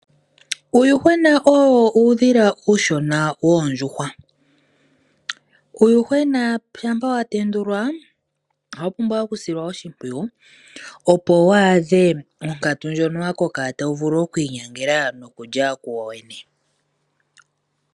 Uuyuhwena owo uudhila uushona woondjuhwa. Uuyuhwena shampa wa tendulwa ohawu pumbwa oku silwa oshimpwiyu opo wu a dhe monkatu mbono wa koka tawu vulu oku i nyangela no kulya wo wene.